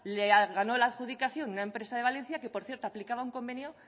le ganó la adjudicación una empresa de valencia que por cierto aplicaba un convenio